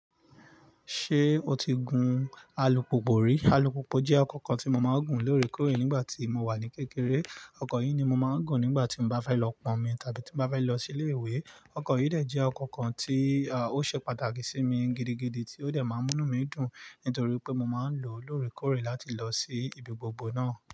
Ṣé o ti gun alupùpù rí? Alupùpù jẹ́ ọkọ̀ kan tí mo máa ń gùn lóòrèkóòrè nígbà tí mo wà ní kékeré. Ọkọ̀ yìí ni mo máa ń gùn nígbà tí mo bá fẹ́ lọ pọ́nmi tàbí tí mo bá fẹ́ lọ sí ilé ìwé. Ọkọ̀ yìí jẹ́ ọkọ̀ kan tí ó ṣe pàtàkì sí mi gidigidi tí ó dẹ̀ máa ń mú inú mi dùn nítorí pé mo máa ń lò ó lóòrèkóòrè láti lọ sí ibi gbogbo náà.